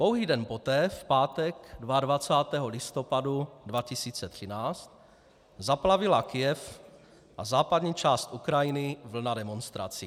Pouhý den poté, v pátek 22. listopadu 2013, zaplavila Kyjev a západní část Ukrajiny vlna demonstrací.